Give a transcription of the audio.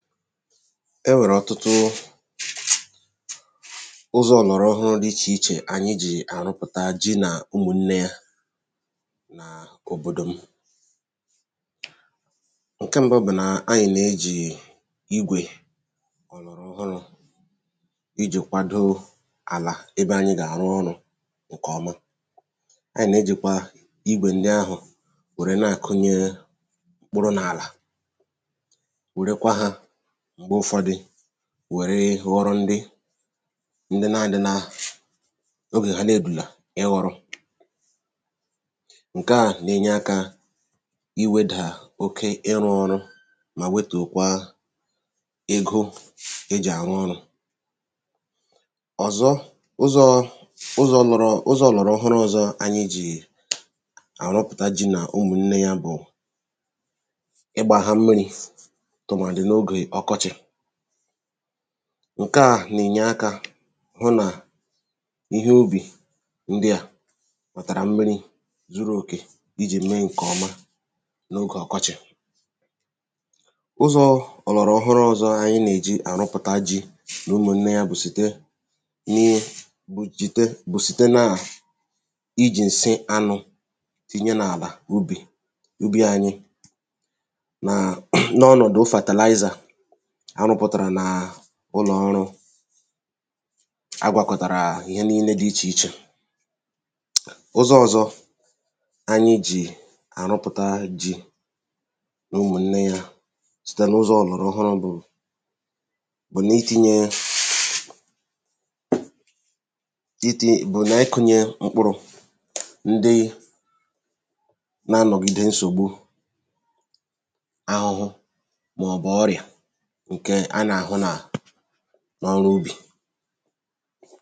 e nwèrè ọ̀tụtụ ụzọ̄ ọ̀lọ̀rọ̀ọhụrụ̄ dị ichè ichè ànyị jì àrụpụ̀ta ji nà ụmụ̀nnē yā n’òbòdò m ṅ̀ke mbụ bụ̀ nà anyị̀ nà-ejì igwè òlòròọhụrụ̄ ijì kwadoo àlà ebe anyị gà-àrụ ọrụ̄ ṅ̀kè ọma anyị̀ nà-ejìkwa igwè nde ọhụ̀ wère na-àkụnye mkpụrụ̄ nà àlà wèrekwa hā m̀gbe ụfọdị wère ghọrọ nri ndị nā-ādị̄ nā ogè ha na-èrùlà ịghọ̄rọ̄ ṅ̀ke à nà-ènye aka iwēdà oke ịrụ̄ ọrụ mà wetùkwaa ego e jì̀ àrụ ọrụ̄ òzọ ụzọ̄ ụzọ̄ lọ̄rọ̄ ụzọ̄ òlòròọhụrụ ọzọ anyị jì àrụpụ̀ta ji nà ụmụ̀nnē yā bụ̀ ịgbā hā mmirī̄ tụ̀màdị̀ n’ogè ọkọchì ṅ̀ke à nà-ènye akā hụ nà ihe ubì ndị à kùtàrà mmirī zuru òkè ijì mee ṅ̀kè ọma n’ogè ọkọchị̀ ụzọ̄ ọ̀lọ̀rọ̀ọhụrụ̄ ọzọ anyị nà-èji àrụpụ̀ta jī nà ụmụ̀nnē yā bụ̀ site ihe bụ̀ jìte bụ̀ site na à ijì ǹsị anū tinye n’àlà ubì ubī ānyị̄ nàà n’ọnọ̀dụ fertilizer a rụ̄pụ̀tàrà nàà ụlọ̀ ọrụ̄ a gwàkọ̀tàrà ihe ninē dị̄ ichèichè ụzọ̄ ọ̀zọ anyị jì àrụpụ̀ta ji nà ụmụ̀nnē yā site n’ụzọ̄ ọ̀lọ̀rọ̀ọhụrụ̄ bụ̀ bụ n’itīnyē itī bụ̀ n’ịkụ̄nyē mkpụrụ̄ ndi na-anọ̀gide nsògbu ahụhụ màọ̀bụ̀ ọrịà ṅ̀kè a nà-àhụ nà n’ọrụ ubì